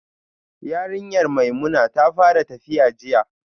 Yarinyar Maimuna ta fara tafiya jiya